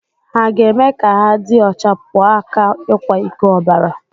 Hà ga-eme ka ha dị ọcha pụọ ​​aka ikwa iko obara?